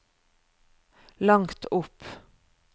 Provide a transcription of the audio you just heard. langt opp